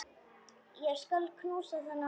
Ég skal knúsa þennan mann!